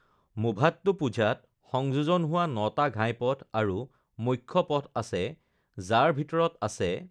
মুভাট্টুপুঝাত সংযোজন হোৱা নটা ঘাইপথ আৰু মুখ্য পথ আছে, যাৰ ভিতৰত আছে: